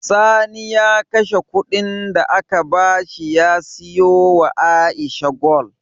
Sani ya kashe Ƙudin da aka bashi ya siyo wa aisha gwal